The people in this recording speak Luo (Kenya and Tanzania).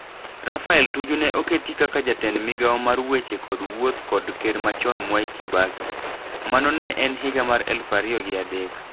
Raphael Tuju ne oketi kaka jatend migao mar weche kod wuoth kod ker machon Mwai Kibaki. Mano ne higa ma eluf ario gi adek.